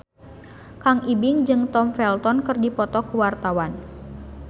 Kang Ibing jeung Tom Felton keur dipoto ku wartawan